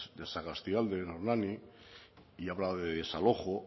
de sagastialde en hernani y habla de desalojo